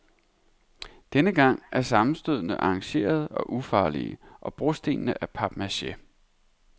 Denne gang er sammenstødene arrangerede og ufarlige, og brostenene af papmache.